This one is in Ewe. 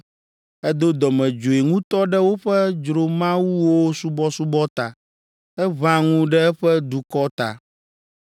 Edo dɔmedzoe ŋutɔ ɖe woƒe dzromawuwo subɔsubɔ ta; eʋã ŋu ɖe eƒe dukɔ ta.